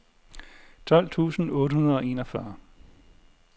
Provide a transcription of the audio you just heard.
tolv tusind otte hundrede og enogfyrre